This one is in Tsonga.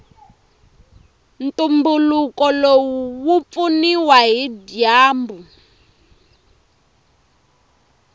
ntumbuluko lowu wupfuniwa hhijambu